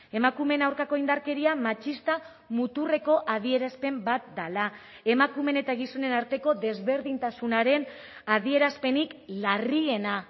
emakumeen aurkako indarkeria matxista muturreko adierazpen bat dela emakumeen eta gizonen arteko desberdintasunaren adierazpenik larriena